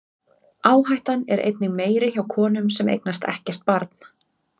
Áhættan er einnig meiri hjá konum sem eignast ekkert barn.